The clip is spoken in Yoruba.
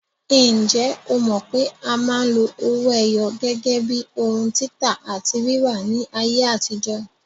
Ǹjẹ́ o mọ̀ pé a máa ń lo owó ẹyọ gẹ́gẹ́ bíi ohun títà àti rírà ní ayé àtijó?